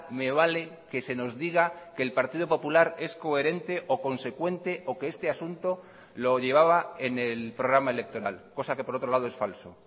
me vale que se nos diga que el partido popular es coherente o consecuente o que este asunto lo llevaba en el programa electoral cosa que por otro lado es falso